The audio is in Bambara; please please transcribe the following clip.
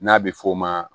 N'a bɛ f'o ma